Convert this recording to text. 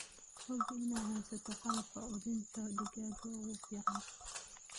Hubi inaad haysato qalabka quudinta digaaga ee ugu fiican.